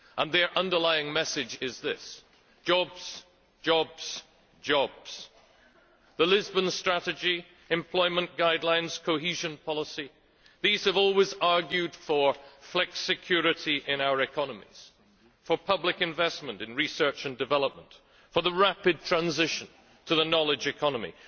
And their underlying message is this jobs, jobs, jobs. The Lisbon Strategy, employment guidelines, cohesion policy these have always argued for flexicurity in our economies, for public investment in research and development, for the rapid transition to the knowledge economy.